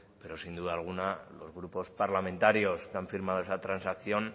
pero sin duda alguna los grupos parlamentarios que han firmado esa transacción